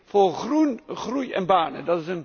Dat heet Voor groen, groei en banen.